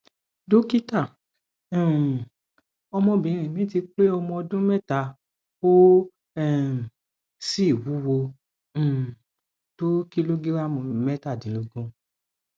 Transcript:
dókítà um ọmọbìnrin mi ti pé ọmọ ọdún mẹta ó um sì wúwo um tó kìlógíráàmù mẹtàdínlógún